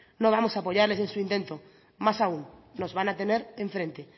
no vamos apoyarles en su intento más aun nos van a tener enfrente